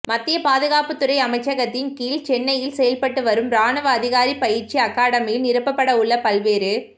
மத்திய பாதுகாப்புத் துறை அமைச்சகத்தின் கீழ் சென்னையில் செயல்பட்டு வரும் ராணுவ அதிகாரி பயிற்சி அகாடமியில் நிரப்பப்பட உள்ள பல்வேறு